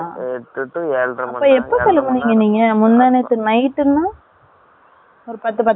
அப்ப, எப்ப சொல்ல போனீங்க நீங்க? முந்தா நேத்து night ன்னா? ஒரு பத்து, பத்தரை கிளம்பிருக்கீங்களா?